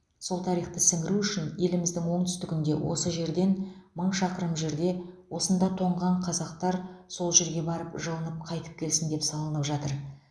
сол тарихты сіңіру үшін еліміздің оңтүстігінде осы жерден мың шақырым жерде осында тоңған қазақтар сол жерге барып жылынып қайтып келсін деп салынып жатыр